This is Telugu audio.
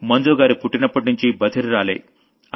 మంజుగారు పుట్టినప్పట్నుంచీ బధిరురాలే